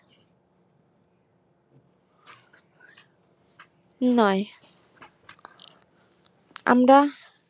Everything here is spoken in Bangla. নয় আমরা